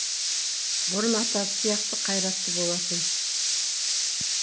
бұрын атасы сияқты қайратты болатын